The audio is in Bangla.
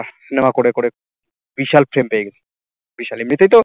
বিশাল frame পেয়ে গেছে বিশাল এমনিতেই তো